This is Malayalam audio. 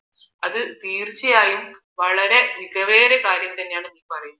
അത് തീർച്ചയായും വളരെ മികവേറിയ കാര്യം എന്നാണ് പറയുന്നത്